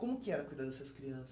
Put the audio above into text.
Como que era cuidar dessas crianças?